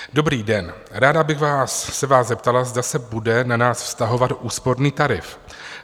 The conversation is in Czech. Dobrý den, ráda bych se vás zeptala, zda se bude na nás vztahovat úsporný tarif.